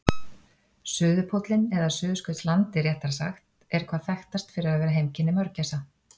Suðurpóllinn, eða Suðurskautslandið réttara sagt, er hvað þekktast fyrir að vera heimkynni mörgæsa.